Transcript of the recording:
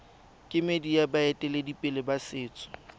kemedi ya baeteledipele ba setso